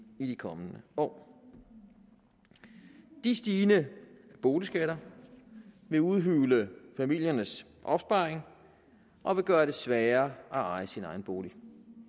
i de kommende år de stigende boligskatter vil udhule familiernes opsparing og vil gøre det sværere at eje sin egen bolig